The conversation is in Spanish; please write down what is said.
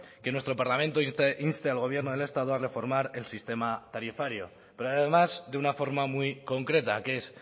que nuestro parlamento inste al gobierno del estado a reformar el sistema tarifario pero además de una forma muy concreta que es